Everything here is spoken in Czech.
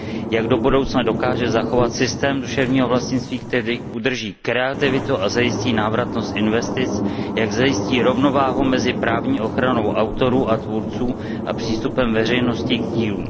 jak do budoucna dokáže zachovat systém duševního vlastnictví, který udrží kreativitu a zajistí návratnost investic, a jak zajistí rovnováhu mezi právní ochranou autorů a tvůrců a přístupem veřejnosti k dílům.